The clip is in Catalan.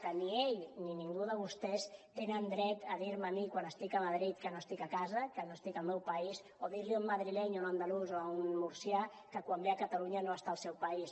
que ni ell ni ningú de vostès tenen dret a dir me a mi quan estic a madrid que no estic a casa que no estic al meu país o dir li a un madrileny o a un andalús o a un murcià que quan ve a catalunya no està al seu país